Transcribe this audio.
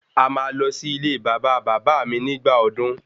A máa lọ sí ilé bàbá bàbá áà mi nígbà ọdún